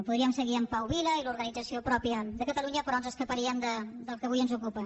podríem seguir amb pau vila i l’organització pròpia de catalunya però ens escaparíem del que avui ens ocupa